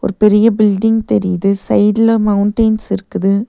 ஒரு பெரிய பில்டிங் தெரியிது சைடுல மௌண்டைன்ஸ் இருக்குது.